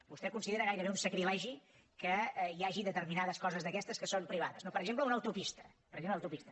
vostè considera gairebé un sacrilegi que hi hagi determinades coses d’aquestes que són privades no per exemple una autopista per exemple una autopista